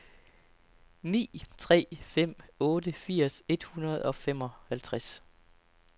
ni tre fem otte firs et hundrede og femoghalvtreds